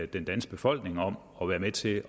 den danske befolkning om at være med til